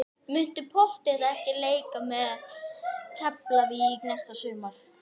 Muntu pottþétt ekki leika með Keflavík næsta sumar?